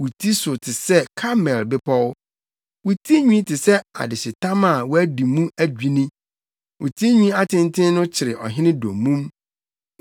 Wo ti si so sɛ Karmel Bepɔw. Wo tinwi te sɛ adehyetam a wɔadi mu adwinni; wo tinwi atenten no kyere ɔhene dommum.